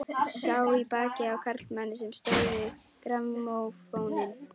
Sá í bakið á karlmanni sem stóð við grammófóninn.